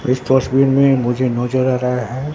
इस डस्टबिन में मुझे नजर आ रहा है।